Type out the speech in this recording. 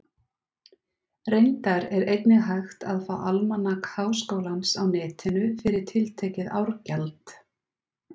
Reyndar er einnig hægt að fá Almanak Háskólans á Netinu, fyrir tiltekið árgjald.